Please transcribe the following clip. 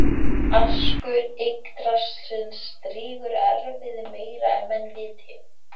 Askur Yggdrasils drýgir erfiði meira en menn viti